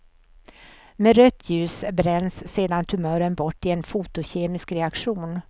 Med rött ljus bränns sedan tumören bort i en fotokemisk reaktion.